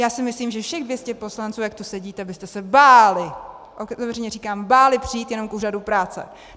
Já si myslím, že všech 200 poslanců, jak tu sedíte, byste se báli, otevřeně říkám, báli přijít jenom k úřadu práce.